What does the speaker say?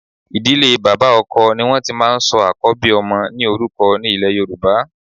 Ìdílé bàbá ọkọ ni wọn ti máa ń sọ àkọ́bí ọmọ ní orúkọ ní ilè Yorùbá.